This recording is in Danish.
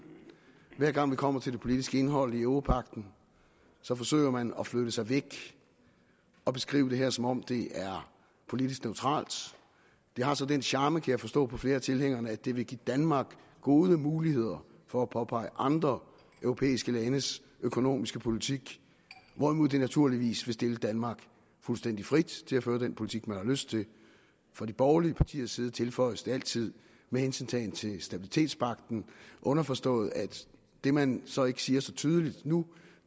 hver gang vi kommer til det politiske indhold i europagten så forsøger man at flytte sig væk og beskrive det her som om det er politisk neutralt det har så den charme kan jeg forstå på flere af tilhængerne at det vil give danmark gode muligheder for at påpege mangler i andre europæiske landes økonomiske politik hvorimod det naturligvis vil stille danmark fuldstændig frit til at føre den politik man har lyst til fra de borgerlige partiers side tilføjes det altid med hensyntagen til stabilitetspagten underforstået at det man så ikke siger så tydeligt nu